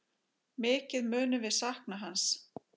Mikið munum við sakna hans.